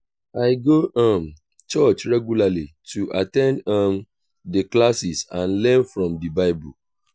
i go um church regularly to at ten d um di classes and learn from di bible.